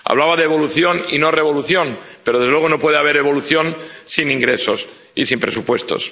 Hablaba de evolución y no revolución, pero, desde luego, no puede haber evolución sin ingresos y sin presupuestos.